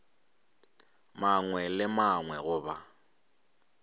mangwe le a mangwe goba